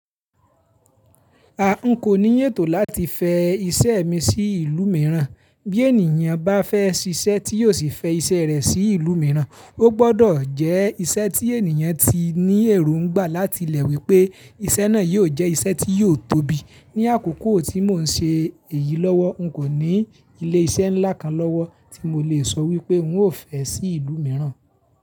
A n kò ní ètò láti fẹ iṣẹ́ mi sí ìlú mìíràn, bí ènìyàn bá fẹ́ ṣíṣẹ́ tí yóò sì fẹ iṣẹ́ rẹ̀ sí ìlú mìíràn, ó gbọdọ̀ jẹ́ iṣẹ́ tí ènìyàn ti ní èròǹgbà láti lẹ̀ wípé iṣẹ́ náà yó jẹ́ iṣẹ́ tí yóò tóbi. Ní àkókò tí mò ń ṣe èyí lọ́wọ́, n kò ní ilé iṣẹ́ ńlá kan lọ́wọ́ tí mo lè sọ wípé n ó fẹ́ sí ìlú mìíràn.